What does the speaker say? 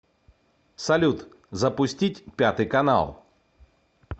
салют запустить пятый канал